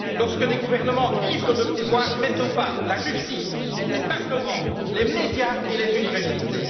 Lorsque des gouvernements ivres de pouvoir mettent au pas la justice, les parlements, les médias et les universités.